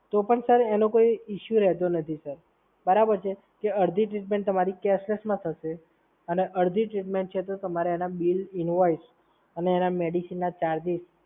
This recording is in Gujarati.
તો પણ સર એનો કોઈ ઇસ્યુ રહેતો નથી. બરાબર છે સર? અડધી ટ્રીટમેન્ટ તમારી કેશલેસમાં થશે અને અડધી ટ્રીટમેન્ટ તો તમારે એના બિલ, ઇનવોઇસ અને એના મેડીસીનના ચાર્જિસ